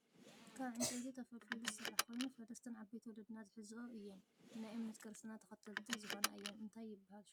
ካብ ዕንጨይቲ ተፈሊፊሉ ዝስራሕ ኮይኑ ፈለስትን ዓበይቲ ወለዲና ዝሕዞኦ እየን ናይ እምነት ክርስትና ተከተልቲ ዝኮነ እየን። እንታይ ይብሃል ሽሙ ?